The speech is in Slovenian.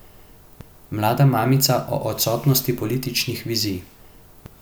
Mlada mamica o odsotnosti političnih vizij.